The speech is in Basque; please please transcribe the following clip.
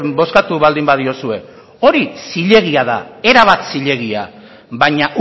bozkatu baldin badiozue hori zilegia da erabat zilegia baina